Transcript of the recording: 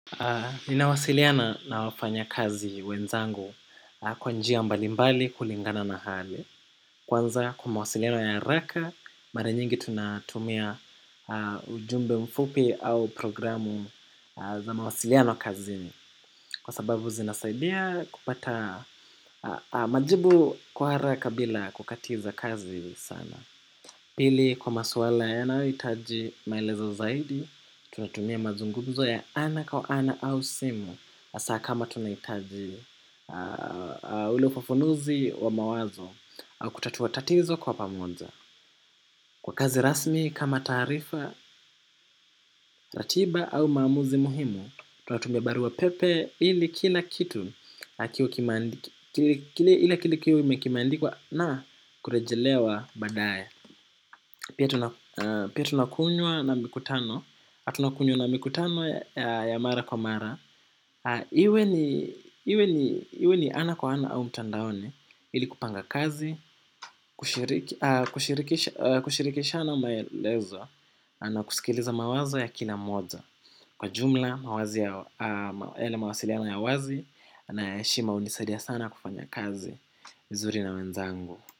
Ninawasiliana na wafanya kazi wenzangu kwa njia mbalimbali kulingana na hali. Kwanza kwa mawasiliano ya haraka, mara nyingi tunatumia ujumbe mfupi au programu za mawasiliano kazini. Kwa sababu zinasaidia kupata majibu kwa haraka bila kukatiza kazi sana. Pili kwa maswala yanayohitaji maelezo zaidi, tunatumia mazungumzo ya ana kwa ana au simu hasa kama tunahitaji ule ufafanuzi wa mawazo au kutatua tatizo kwa pamoja. Kwa kazi rasmi kama tarifa, ratiba au maamuzi muhimu, tunatumia barua pepe ili kila kitu kimeandikwa na kurejelewa badaye. Pia tunakunywa na mikutano ya mara kwa mara. Iwe ni ana kwa ana au mtandaoni. Ili kupanga kazi, kushirikishana maelezo na kusikiliza mawazo ya kila moja. Kwa jumla, yale mawasiliano ya wazi na ya heshima hunisadia sana kufanya kazi zuri na wenzangu.